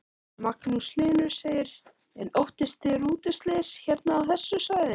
Magnús Hlynur: En óttist þið rútuslys hérna á þessu svæði?